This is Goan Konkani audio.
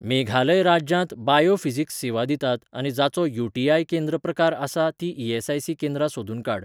मेघालय राज्यांत बायो फिजिक्स सेवा दितात आनी जांचो यू.टी.आय. केंद्र प्रकार आसा तीं ई.एस.आय.सी. केंद्रां सोदून काड.